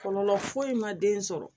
Kɔlɔlɔ foyi ma den sɔrɔ